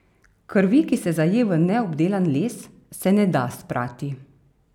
Krvi, ki se zaje v neobdelan les, se ne da sprati.